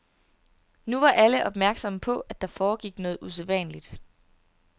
Nu var alle opmærksomme på, at der foregik noget usædvanligt.